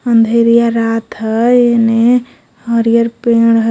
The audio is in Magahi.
अंधरिया रात ओने हरियर पेड़ ह.